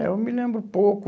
É, eu me lembro pouco.